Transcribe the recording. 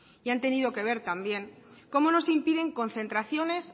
y han tenido que ver también como no se impiden concentraciones